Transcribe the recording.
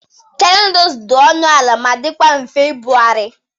Cheri nudulu dị ọnụ ala ma dikwa mfe ibugharị.